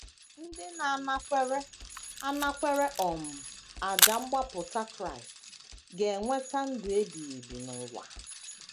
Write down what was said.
Ndị na - anakwere - anakwere um àjà mgbapụta Kraịst ga - enweta ndụ ebighị ebi n’ụwa.